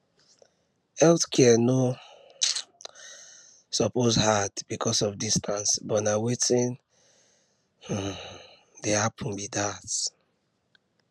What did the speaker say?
health care no um suppose hard because of distance but na wetin um dey happen be that